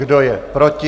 Kdo je proti?